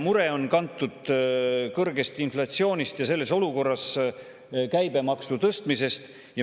Mure on kantud kõrgest inflatsioonist ja selles olukorras käibemaksu tõstmisest.